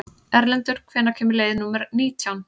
Erlendur, hvenær kemur leið númer nítján?